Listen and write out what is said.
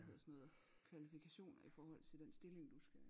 Hvad hedder sådan noget kvalifikationer i forhold til den stilling du skal